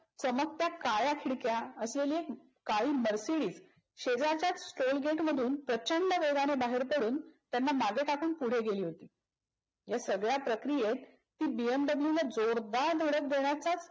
चमकत्या काळ्या खिडक्या असलेली एक काळी मर्सिडिज शेजारच्याच टोल गेटमधून प्रचंड वेगान बाहेर पडून त्यांना मागे टाकून पुढे गेली. या सगळ्या प्रक्रियेत ती बीएम दाबलूएल जोरदार धडक देण्याचा